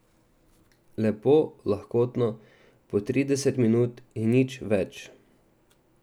Lepo lahkotno po trideset minut in nič več.